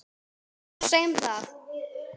Já, segðu það!